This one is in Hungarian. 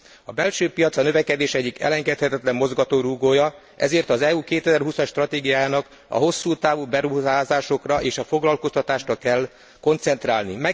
A belső piac a növekedés egyik elengedhetetlen mozgatórugója, ezért az EU 2020 as stratégiájának a hosszútávú beruházásokra és a foglalkoztatásra kell koncentrálni.